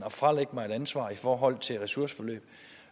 at fralægge mig et ansvar i forhold til ressourceforløb